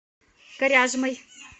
коряжмой